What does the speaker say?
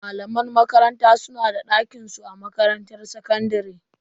Malaman makaranta su na da dakinsu a makarantar sakandare.